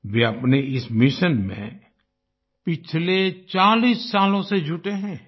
वे अपने इस मिशन में पिछले 40 सालों से जुटे हैं